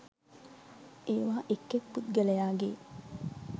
ඒවා එක් එක් පුද්ගලයාගේ